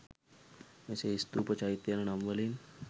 මෙසේ ස්ථූප, චෛත්‍ය යන නම් වලින්